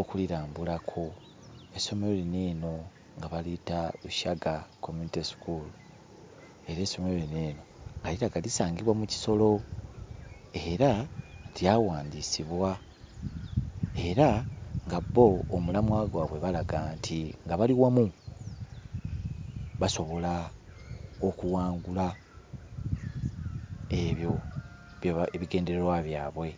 okulirambulako. Essomero lino eno nga baliyita Shaga Community School era essomero lino eno nga lirabika lisangibwa mu Kisoro, era lyawandiisibwa, era nga bo omulamwa gwabwe balaga nti, nga bali wamu basobola okuwangula ebyo bye ebigendererwa byabwe.